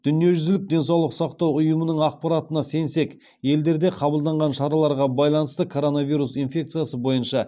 дүниежүзілік денсаулық сақтау ұйымының ақпаратына сенсек елдерде қабылданған шараларға байланысты коронавирус инфекциясы бойынша